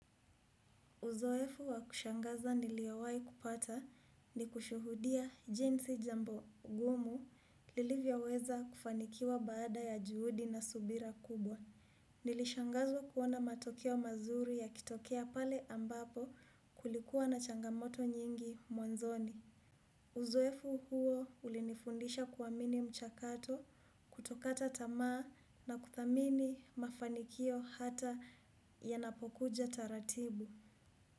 Uzoefu wa kushangaza niliowai kupata ni kushuhudia jinsi jambo gumu lilivyoweza kufanikiwa baada ya juhudi na subira kubwa. Nilishangazwa kuona matokeo mazuri yakitokea pale ambapo kulikuwa na changamoto nyingi mwanzoni. Uzoefu huo ulinifundisha kuwamini mchakato kutokata tamaa na kuthamini mafanikio hata yanapokuja taratibu.